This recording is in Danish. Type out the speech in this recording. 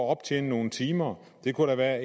optjene nogle timer det kunne da være